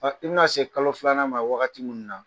I bina se kalo filanan ma wagati min na.